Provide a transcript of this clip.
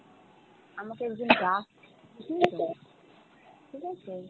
আমাকে একজন ডাকছে ঠিক আছে, ঠিক আছে?